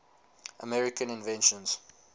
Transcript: american inventions